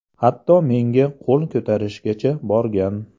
Hatto menga qo‘l ko‘tarishgacha borgan.